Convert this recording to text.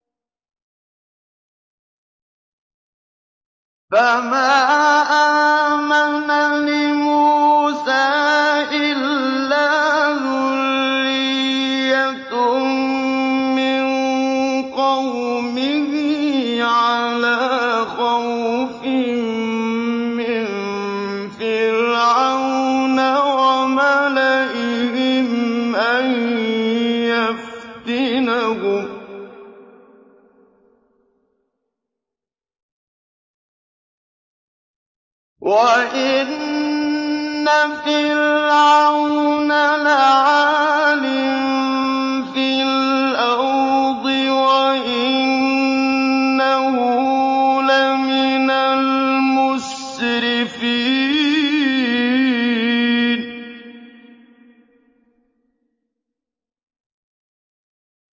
فَمَا آمَنَ لِمُوسَىٰ إِلَّا ذُرِّيَّةٌ مِّن قَوْمِهِ عَلَىٰ خَوْفٍ مِّن فِرْعَوْنَ وَمَلَئِهِمْ أَن يَفْتِنَهُمْ ۚ وَإِنَّ فِرْعَوْنَ لَعَالٍ فِي الْأَرْضِ وَإِنَّهُ لَمِنَ الْمُسْرِفِينَ